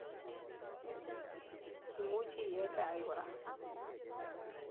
Imuchi iee chaik kora.